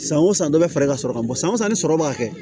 San o san dɔ bɛ fara i ka sɔrɔ kan bɔ san o san ni sɔrɔ b'a kɛ